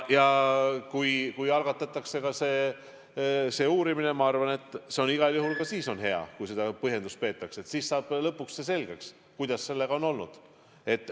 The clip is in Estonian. Kui algatatakse uurimine, siis ma arvan, et igal juhul on ka siis hea, kui seda põhjendust peetakse, siis saab lõpuks selgeks, kuidas sellega on olnud.